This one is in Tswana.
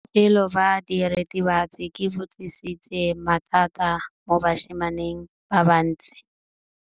Botshelo jwa diritibatsi ke bo tlisitse mathata mo basimaneng ba bantsi.